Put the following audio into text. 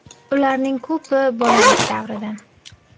Ularning ko‘pi bolalik davridan.